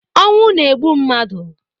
Ọnwụ na-egbu mmadụ